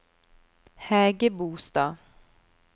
Hægebostad